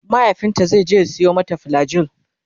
mahaifinta zaije ya Sayo mata flagyl